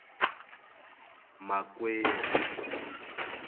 makwerhu